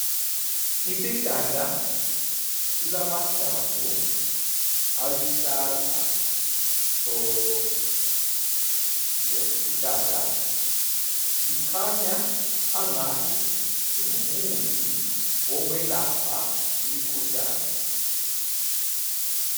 Isihlahla silamahlamvu aluhlaza tshoko. Lesisihlahla sikhanya angani singumuthi wokwelapha imikhuhlane.